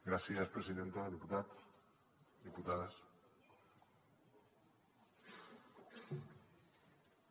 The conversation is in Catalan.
gràcies presidenta diputats diputades